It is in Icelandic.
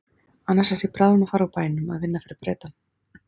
Annars er ég bráðum að fara úr bænum að vinna fyrir Bretann.